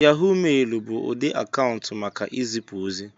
Yahó mailu bụ ụdị akaụntụ maka izipu ozi